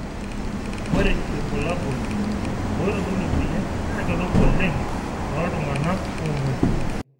ore irbulabol oitodolu emoyian naa kedupa oleng tooltung'anak oomuoi.